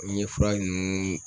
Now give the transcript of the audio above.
N ye fura nunnu